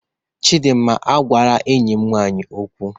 Chidinma, agwala enyim nwanyi okwu!